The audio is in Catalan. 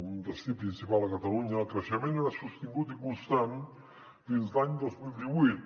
un destí principal a catalunya el creixement era sostingut i constant fins l’any dos mil divuit